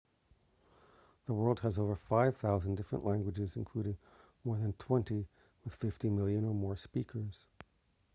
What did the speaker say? the world has over 5,000 different languages including more than twenty with 50 million or more speakers